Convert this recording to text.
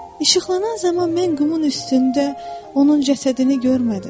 İşıqlanan zaman mən qumun üstündə onun cəsədini görmədim.